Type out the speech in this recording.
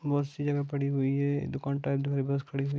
बहुत सी जगह पड़ी हुई है दुकान टा एक जो है बस खड़ी है।